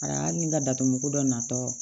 Ara ni n ka datugu dɔ natɔ